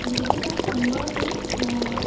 बिजली का खंभा भी है।